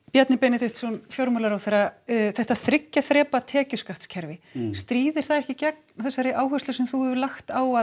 Bjarni Benediktsson fjármálaráðherra þetta þriggja þrepa tekjuskattskerfi stríðir það ekki gegn þeirri áherslu sem þú hefur lagt á að